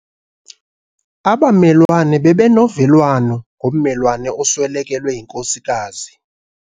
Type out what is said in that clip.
Abamelwane bebenovelwano ngommelwane oswelekelwe yinkosikazi.